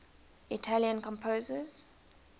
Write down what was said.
italian composers